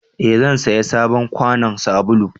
eh zan saya sabon kwanon sabulu